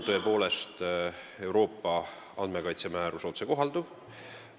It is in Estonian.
Tõepoolest, Euroopa andmekaitsemäärus on otsekohalduv.